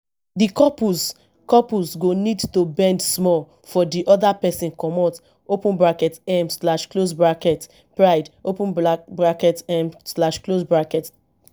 di couples couples go need to bend small for di oda person comot open bracket um slash close bracket pride open bracket um slash close bracket